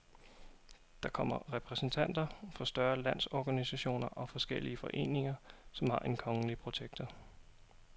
Der kommer repræsentanter for større landsorganisationer og forskellige foreninger, som har en kongelige protektor.